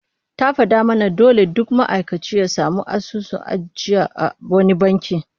Ta fada mana dole duk ma'aikaci ya samu asusun ajiya a wani banki